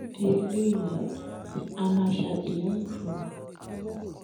nídìí eléyìí á máa ṣàtìlẹyìn fún ọ